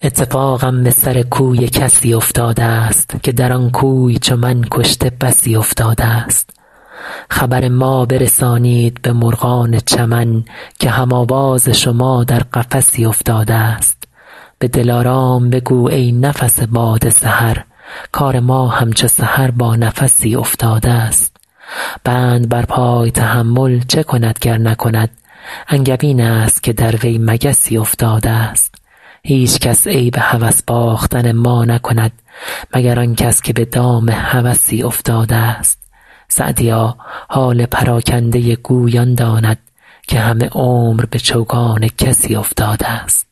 اتفاقم به سر کوی کسی افتاده ست که در آن کوی چو من کشته بسی افتاده ست خبر ما برسانید به مرغان چمن که هم آواز شما در قفسی افتاده ست به دلارام بگو ای نفس باد سحر کار ما همچو سحر با نفسی افتاده ست بند بر پای تحمل چه کند گر نکند انگبین است که در وی مگسی افتاده ست هیچکس عیب هوس باختن ما نکند مگر آن کس که به دام هوسی افتاده ست سعدیا حال پراکنده گوی آن داند که همه عمر به چوگان کسی افتاده ست